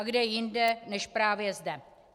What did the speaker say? A kde jinde než právě zde?